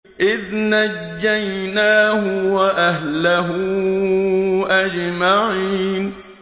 إِذْ نَجَّيْنَاهُ وَأَهْلَهُ أَجْمَعِينَ